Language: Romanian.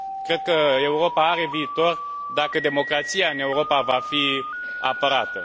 Cred că Europa are viitor dacă democrația în Europa va fi apărată.